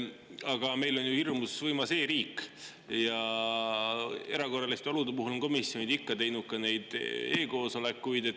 Aga meil on ju hirmus võimas e‑riik ja erakorraliste olude puhul on komisjonid ikka teinud e‑koosolekuid.